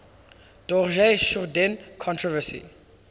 dorje shugden controversy